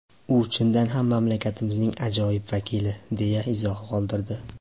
U chindan ham mamlakatimizning ajoyib vakili”, deya izoh qoldirdi.